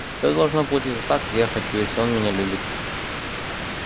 всё должно получиться так как я хочу если он меня любит